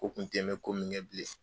U kun kɛn bɛ komi ɲɛ bilen.